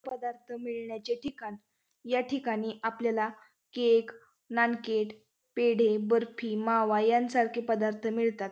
पदार्थ मिळण्याचे ठिकाण या ठिकाणी आपल्याला केक नानकेट पेढे बर्फी मावा यांसारखे पदार्थ मिळतात.